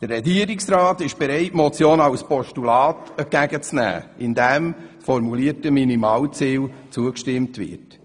Der Regierungsrat ist bereit, die Motion als Postulat entgegenzunehmen, wobei dem formulierten Minimalziel zugestimmt wird.